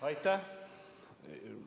Aitäh!